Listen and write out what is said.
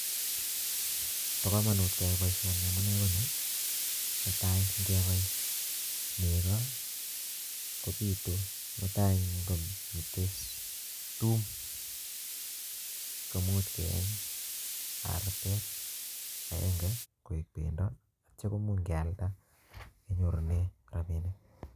Bo komonut keyai boisoni amunee koni, netai ng'ebai nego, kobitu mutai ng'omitei tuum koimuch keeny artet agenge koek pendo, atya koimuch kealda kenyorune rabinik